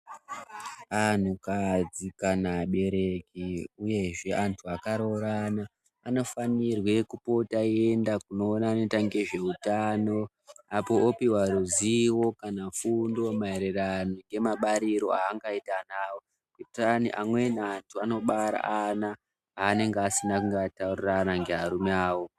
Antukadzi kana vabereki uyezve vantu vakaroorana vanofanire kupota veienda kune vanoita ngezveutano vanopiwa ruzivo kana fundo maererano nezvemabariro avangaite vana vavo ngekuti amweni antu anobare ana avanenge vasina kunge vataurirana nevarume vavo.